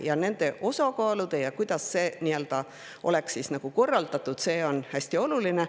Ja see, kuidas nende osakaalud oleks korraldatud, on hästi oluline.